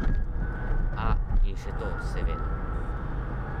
A, in še to, seveda.